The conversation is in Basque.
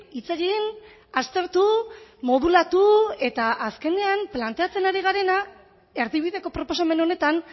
hitz egin aztertu modulatu eta azkenean planteatzen ari garena erdibideko proposamen honetan